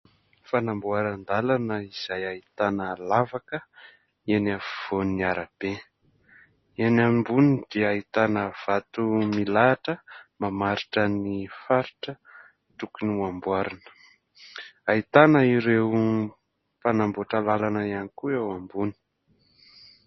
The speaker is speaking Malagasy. Fanamboaran-dalana izay ahitana lavaka eny afovoan'ny arabe eny amboniny dia ahitana vato milahatra mamaritra ny faritra tokony ho amboarina ahitana ireo mpanamboatra lalana ihany koa eo ambony